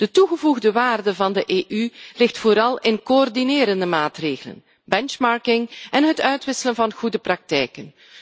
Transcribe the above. De toegevoegde waarde van de EU ligt vooral in coördinerende maatregelen, benchmarking en het uitwisselen van goede praktijken.